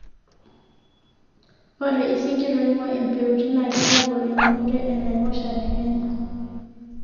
ore isinkir oinguaa impeutin naa keitagol eunore oo naiposha te kenya